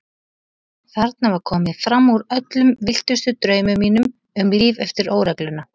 Þetta var komið fram úr öllum villtustu draumum mínum um líf eftir óregluna.